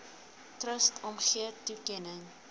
trust omgee toekenning